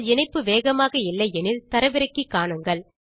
உங்கள் இணைப்பு வேகமாக இல்லை எனில் தரவிறக்கி காணுங்கள்